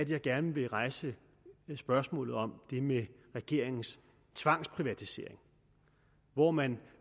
jeg gerne vil rejse spørgsmålet om regeringens tvangsprivatisering hvor man